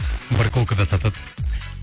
барахолкада сатады